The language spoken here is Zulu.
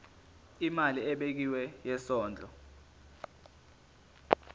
imali ebekiwe yesondlo